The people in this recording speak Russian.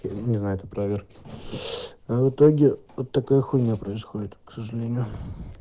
не знает о проверке а в итоге вот такая хуйня происходит к сожалению